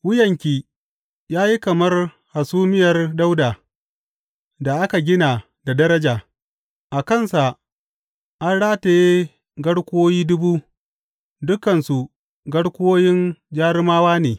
Wuyanki ya yi kamar hasumiyar Dawuda, da aka gina da daraja; a kansa an rataye garkuwoyi dubu, dukansu garkuwoyin jarumawa ne.